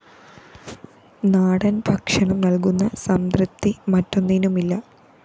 നാടന്‍ ഭക്ഷണം നല്‍കുന്ന സംതൃപ്തി മറ്റൊന്നിനുമില്ല